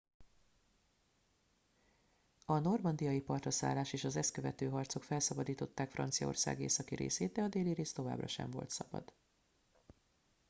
a normandiai partraszállás és az ezt követő harcok felszabadították franciaország északi részét de a déli rész továbbra sem volt szabad